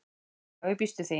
Já ég býst við því.